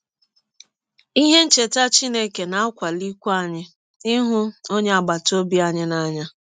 Ihe ncheta Chineke na - akwalikwa anyị ịhụ ọnye agbata ọbi anyị n’anya.